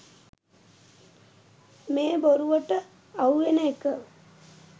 මේ බොරුවට අහුවෙන එක.